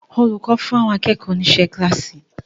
Olùkọ́ fún àwọn akẹ́kọ̀ọ́ ni iṣẹ́ kíláàsì.